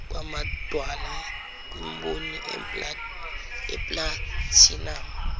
kwamadwala kwimboni yeplathinamu